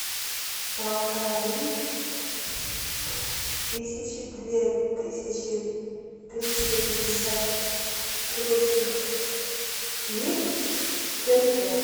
полторы тысячи две тысячи триста пятьдесят турецких лир в тенге